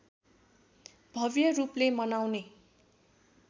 भव्य रूपले मनाउने